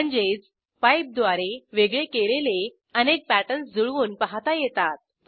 म्हणजेच पाइप द्वारे वेगळे केलेले अनेक पॅटर्न्स जुळवून पाहता येतात